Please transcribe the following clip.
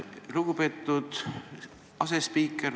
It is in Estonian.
Lugupeetud asespiiker!